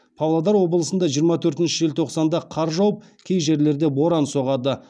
павлодар облысында жиырма төртінші желтоқсанда қар жауып кей жерлерде боран соғады